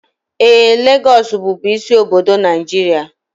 Ee, Lagos bụbu isi obodo Nigeria